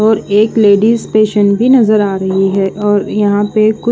और एक ladies patient भी नज़र आ रही है और यहाँ पे कुछ--